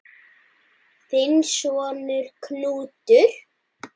Þinn sonur, Knútur.